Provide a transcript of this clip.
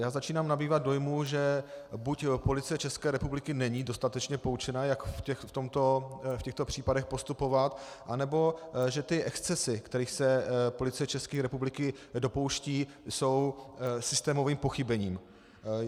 Já začínám nabývat dojmu, že buď Policie České republiky není dostatečně poučena, jak v těchto případech postupovat, anebo že ty excesy, kterých se Policie České republiky dopouští, jsou systémovým pochybením.